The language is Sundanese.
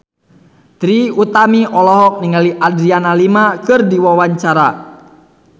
Trie Utami olohok ningali Adriana Lima keur diwawancara